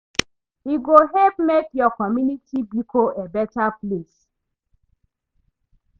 E go help mek yur community bikom a beta place